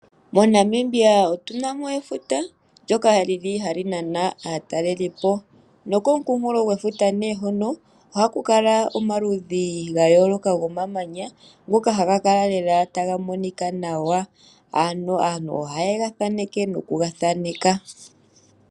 MoNamibia Otuna mo efuta ndyoka lyili hali nana aatalelipo nokomukunkulofuta nee hoka ohaku kala omaludhi gayooloka gomamanya, ngoka haga kala lela taga monika nawa. Aantu ohaye gathaneke noku gathaneka.